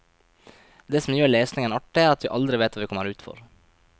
Det som gjør lesningen artig er at vi aldri vet hva vi kommer ut for.